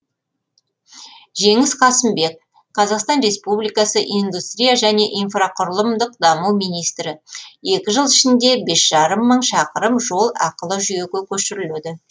жеңіс қасымбек қазақстан республикасы индустрия және инфрақұрылымдық даму министрі екі жыл ішінде бес жарым мың шақырым жол ақылы жүйеге көшіріледі